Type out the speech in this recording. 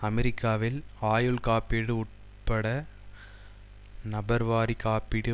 அமெரிக்காவில் ஆயுள் காப்பீடு உட்பட நபர்வாரி காப்பீடு